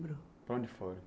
Para onde foi?